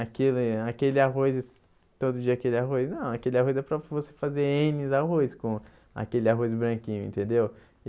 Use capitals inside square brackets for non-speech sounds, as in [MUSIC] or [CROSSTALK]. Aquele aquele arroz, todo dia aquele arroz, não, aquele arroz é para você fazer N arroz [UNINTELLIGIBLE] com aquele arroz branquinho, entendeu?